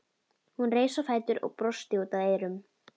Hún reis á fætur og brosti út að eyrum.